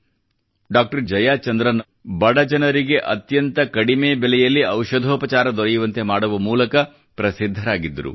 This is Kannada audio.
ಡಾಕ್ಟರ್ ಜಯಚಂದ್ರ ಅವರು ಬಡ ಜನರಿಗೆ ಅತ್ಯಂತ ಕಡಿಮೆ ಬೆಲೆಯಲ್ಲಿ ಔಷಧೋಪಚಾರ ದೊರೆಯುವಂತೆ ಮಾಡುವ ಮೂಲಕ ಪ್ರಸಿದ್ಧರಾಗಿದ್ದರು